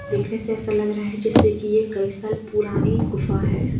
देखने से ऐसा लग रहा है जैसे कि यह कई साल पुरानी गुफा है।